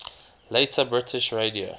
later british radio